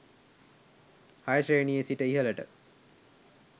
6 ශ්‍රේණියේ සිට ඉහළට